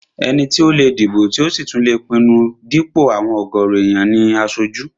Ẹni tó lè dìbò tí ò sì tún lè pinnu dípò àwọn ọ̀gọ̀rọ̀ èèyàn ní aṣojú